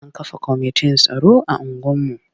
An kafa kwamitin tsaro a unguwarmu.